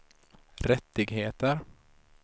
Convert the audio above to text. rättigheter